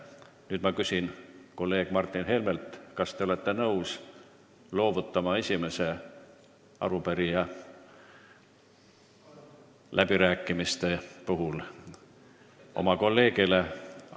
Nüüd ma küsin kolleeg Martin Helmelt, kas te olete nõus loovutama läbirääkimistel esimese sõnavõtja õiguse oma kolleegile.